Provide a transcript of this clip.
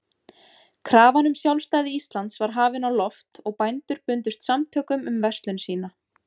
Krafan um sjálfstæði Íslands var hafin á loft, og bændur bundust samtökum um verslun sína.